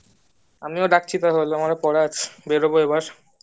আমিও রাখছি তাহলে আমার ও পড়া আছে বেরোবো এবার